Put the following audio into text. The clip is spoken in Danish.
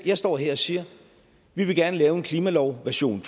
jeg står her og siger vi vil gerne lave en klimalov version